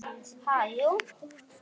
Ha, jú.